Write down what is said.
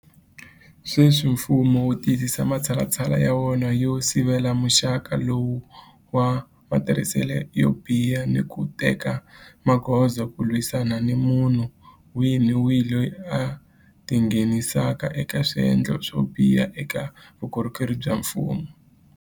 Sweswi mfumo wu tiyisisa matshalatshala ya wona yo sivela muxaka lowu wa matirhiselo yo biha ni ku teka magoza ku lwisana ni munhu wihi ni wihi loyi a tingheni saka eka swendlo swo biha eka vukorhokeri bya mfumo.